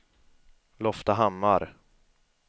Loftahammar